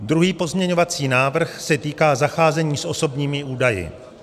Druhý pozměňovací návrh se týká zacházení s osobními údaji.